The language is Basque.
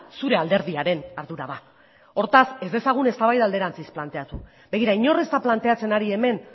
zure alderdiaren ardura da hortaz ez dezagun eztabaida alderantziz planteatu begira inor ez da planteatzen ari hemen